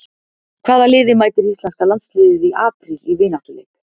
Hvaða liði mætir Íslenska landsliðið í apríl í vináttuleik?